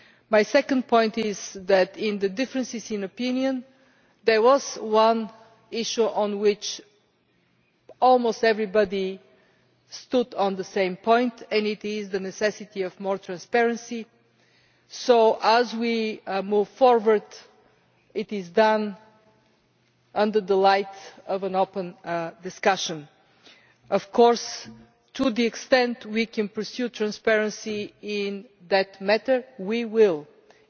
My second point is that in the differences in opinion, there was one issue on which almost everybody was of the same opinion namely the necessity for more transparency so that, as we move forward, it is done in the form of an open discussion. Of course, to the extent that we can pursue transparency in that matter, we will do so.